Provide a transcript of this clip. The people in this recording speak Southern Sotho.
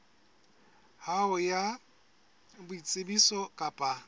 ya hao ya boitsebiso kapa